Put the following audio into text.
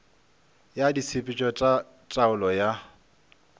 ya ditshepetšo tša taolo ya